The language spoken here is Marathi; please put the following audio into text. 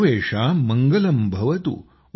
सर्वेषां मङ्गलंभवतु